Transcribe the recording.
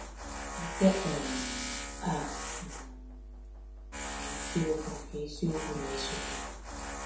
Nke um a um bụ isiokwu nke isiokwu na-esote.